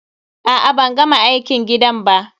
A'a ban gama aikin gidan ba.